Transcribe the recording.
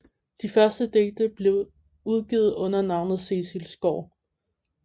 De første digte blev udgivet under navnet Cecil Skaar